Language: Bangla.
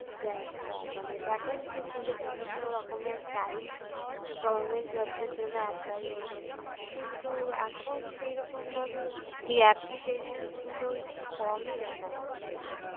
মানে vacancy ছিল বিভিন্নরকমের prize government jobs এর জন্য apply হতো। কিন্তু এখন সেইরকম ভাবে এই application গুলো একটু কমই দেখা যাচ্ছে।